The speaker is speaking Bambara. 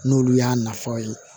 N'olu y'a nafaw ye